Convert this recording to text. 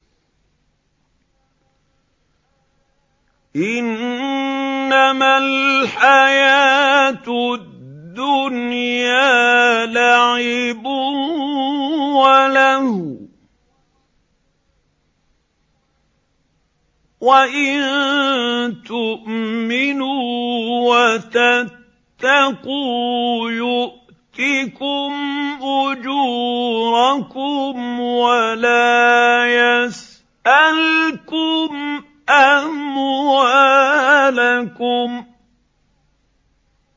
إِنَّمَا الْحَيَاةُ الدُّنْيَا لَعِبٌ وَلَهْوٌ ۚ وَإِن تُؤْمِنُوا وَتَتَّقُوا يُؤْتِكُمْ أُجُورَكُمْ وَلَا يَسْأَلْكُمْ أَمْوَالَكُمْ